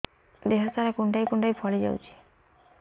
ଦେହ ସାରା କୁଣ୍ଡାଇ କୁଣ୍ଡାଇ ଫଳି ଯାଉଛି